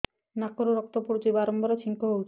ନାକରୁ ରକ୍ତ ପଡୁଛି ବାରମ୍ବାର ଛିଙ୍କ ହଉଚି